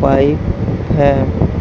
Pipe है।